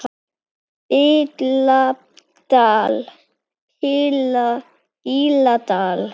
BILLA DAL